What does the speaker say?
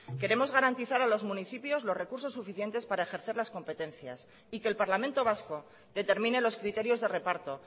queremos garantizar a los municipios los recursos suficientes para ejercer las competencias y que el parlamento vasco determine los criterios de reparto